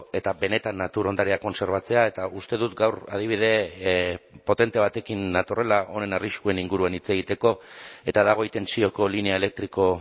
eta benetan natur ondarea kontserbatzea eta uste dut gaur adibide potente batekin natorrela honen arriskuen inguruan hitz egiteko eta da goi tentsioko linea elektriko